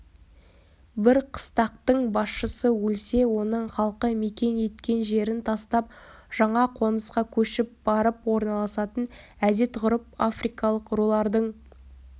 бір қыстақтың басшысы өлсе оның халқы мекен еткен жерін тастап жаңа қонысқа көшіп барып орналасатын әдет-ғұрып африкалық рулардың